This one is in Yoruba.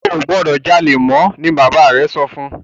o gbódò jalè mọ! ní bàbá rẹ sọfún!